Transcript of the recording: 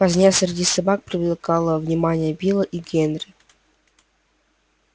возня среди собак привлекала внимание билла и генри